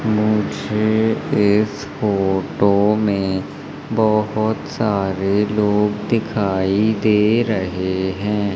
मुझे इस फोटो में बहुत सारे लोग दिखाई दे रहे हैं।